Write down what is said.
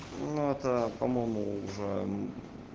ну это по-моему уже